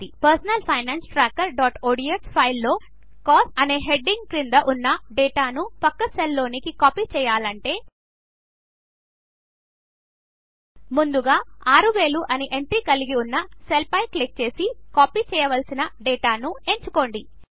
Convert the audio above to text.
మన personal finance trackerఒడిఎస్ ఫైల్లో కోస్ట్ అనే హెడ్డింగ్ క్రింద ఉన్న డేటాను పక్క సెల్స్లోనికి కాపీ చేయాలనుకుంటే ముందుగా 6000 అనే ఎంట్రీ కలిగి ఉన్న సెల్పైక్లిక్ చేసి కాపీ చేయవలసిన డేటాను ఎంచుకోండి